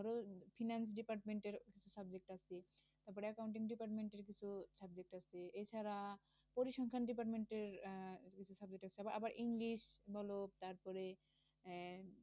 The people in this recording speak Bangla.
Finance department র subject আছে। তারপর accounting department র কিছু subject আছে। এছাড়া পরিসংখ্যান department র আহ কিছু subject আছে। তারপরে আবার ইংলিশ বল তারপরে আহ